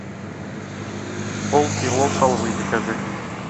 полкило халвы закажи